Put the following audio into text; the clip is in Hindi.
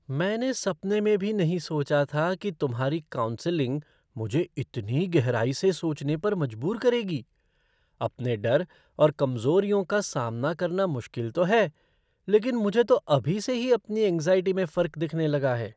मैंने सपने में भी नहीं सोचा था कि तुम्हारी काउंसलिंग मुझे इतनी गहराई से सोचने पर मजबूर करेगी! अपने डर और कमज़ोरियों का सामना करना मुश्किल तो है, लेकिन मुझे तो अभी से ही अपनी एंग्ज़ाइटी में फर्क दिखने लगा है।